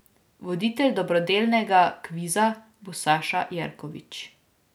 Voditelj dobrodelnega kviza bo Saša Jerković.